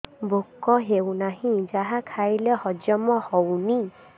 ଭୋକ ହେଉନାହିଁ ଯାହା ଖାଇଲେ ହଜମ ହଉନି